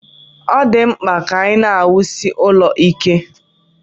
Ọ dị mkpa ka a na-awusie ụlọ ike